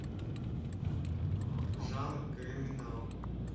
жанр криминал